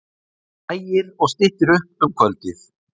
Lægir og styttir upp um kvöldið